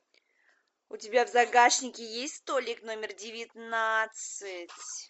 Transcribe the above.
у тебя в загашнике есть столик номер девятнадцать